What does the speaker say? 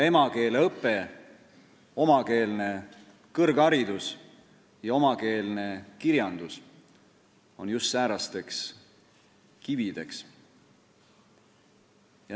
Emakeeleõpe, omakeelne kõrgharidus ja omakeelne kirjandus on just säärasteks kivideks.